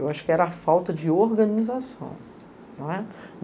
Eu acho que era a falta de organização.